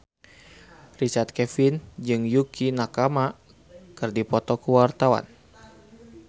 Richard Kevin jeung Yukie Nakama keur dipoto ku wartawan